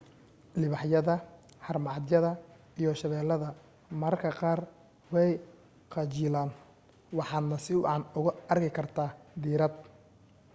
libaaxyada haramacadyada iyo shabeeladda mararka qaar way qajilaan waxaadna si wacan oogu arki kartaa diirad